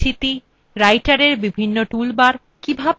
writerএর বিভিন্ন টুল বার